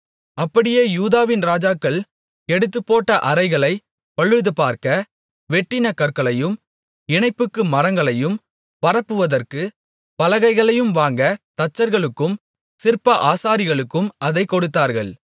அப்படியே யூதாவின் ராஜாக்கள் கெடுத்துப்போட்ட அறைகளைப் பழுதுபார்க்க வெட்டின கற்களையும் இணைப்புக்கு மரங்களையும் பரப்புவதற்குப் பலகைகளையும் வாங்க தச்சர்களுக்கும் சிற்ப ஆசாரிகளுக்கும் அதைக் கொடுத்தார்கள்